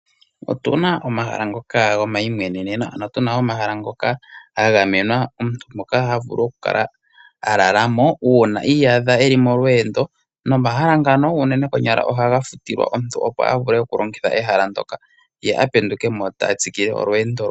Otuna omahala ngoka go mayimweneneno, ano tuma omahala ngoka ga gamenwa omuntu moka havulu oku kala alalamo uunai iyadha molweendo nomahala ngano unene konyala ohaga futilwa omuntu opo avule oku longitha ehala ndoka ye apendukemo tatsikile olweendo lwe.